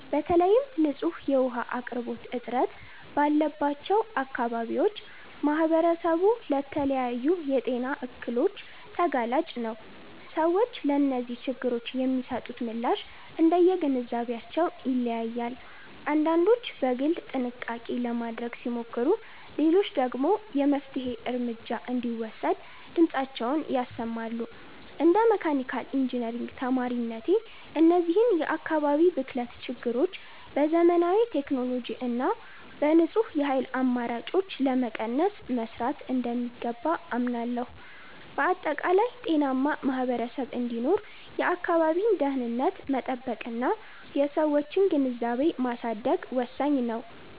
በተለይም ንጹህ የውኃ አቅርቦት እጥረት ባለባቸው አካባቢዎች ማኅበረሰቡ ለተለያዩ የጤና እክሎች ተጋላጭ ነው። ሰዎች ለእነዚህ ችግሮች የሚሰጡት ምላሽ እንደየግንዛቤያቸው ይለያያል፤ አንዳንዶች በግል ጥንቃቄ ለማድረግ ሲሞክሩ፣ ሌሎች ደግሞ የመፍትሔ እርምጃ እንዲወሰድ ድምፃቸውን ያሰማሉ። እንደ መካኒካል ኢንጂነሪንግ ተማሪነቴ፣ እነዚህን የአካባቢ ብክለት ችግሮች በዘመናዊ ቴክኖሎጂ እና በንጹህ የኃይል አማራጮች ለመቀነስ መሥራት እንደሚገባ አምናለሁ። በአጠቃላይ፣ ጤናማ ማኅበረሰብ እንዲኖር የአካባቢን ደኅንነት መጠበቅና የሰዎችን ግንዛቤ ማሳደግ ወሳኝ ነው።